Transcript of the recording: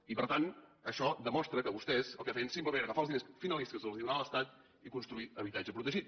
i per tant això demostra que vostès el que feien simplement era agafar els diners finalistes que els donava l’estat i construir habitatge protegit